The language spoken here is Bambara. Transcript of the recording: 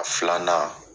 A filanan